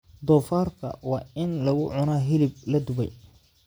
Doofaarka waa in lagu cunaa hilib la dubay.